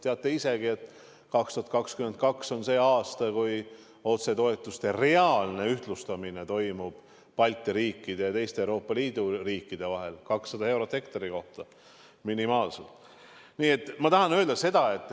Te teate ise ka, et 2022 on see aasta, kui toimub otsetoetuste reaalne ühtlustamine Balti riikide ja teiste Euroopa Liidu riikide vahel: see on minimaalselt 200 eurot hektari kohta.